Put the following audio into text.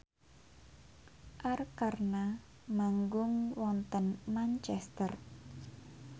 Arkarna manggung wonten Manchester